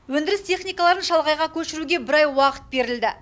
өндіріс техникаларын шалғайға көшіруге бір ай уақыт берілді